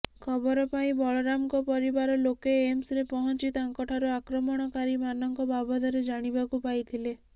ଖବର ପାଇ ବଳରାମଙ୍କ ପରିବାର ଲୋକେ ଏମ୍ସରେ ପହଞ୍ଚି ତାଙ୍କଠାରୁ ଆକ୍ରମଣକାରୀମାନଙ୍କ ବାବଦରେ ଜାଣିବାକୁ ପାଇଥିଲେ